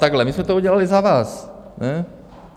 Takhle - my jsme to udělali za vás.